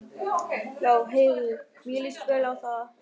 Já heyrðu, mér líst vel á það!